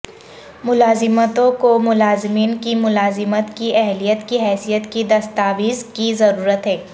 ملازمتوں کو ملازمین کی ملازمت کی اہلیت کی حیثیت کی دستاویز کی ضرورت ہے